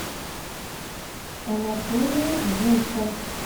анатолия гука